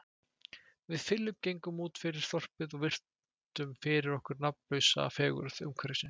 Við Philip gengum útfyrir þorpið og virtum fyrir okkur nafnlausa fegurð umhverfisins.